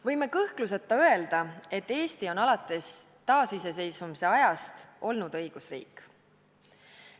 Võime kõhkluseta öelda, et Eesti on alates taasiseseisvumise ajast olnud õigusriik.